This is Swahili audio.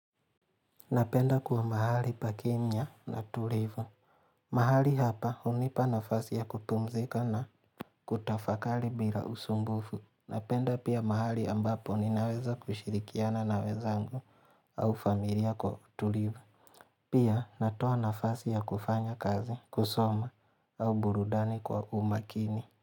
Napenda kuwa mahali pa Kenya na tulivu mahali hapa hunipa nafasi ya kupumzika na kutafakari bila usumbufu Napenda pia mahali ambapo ninaweza kushirikiana na wenzangu au familia kwa uTulivu Pia natoa nafasi ya kufanya kazi, kusoma au burudani kwa umakini.